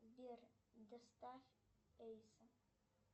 сбер доставь эльза